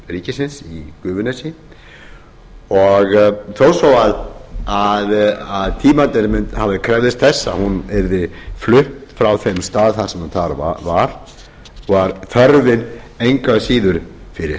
ríkisins í gufunesi og þó svo að tímarnir krefðust þess að hún yrði flutt frá þeim stað sem hún þá var var þörfin engu að síður fyrir